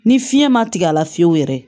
Ni fiɲɛ ma tigɛ a la fiyewu yɛrɛ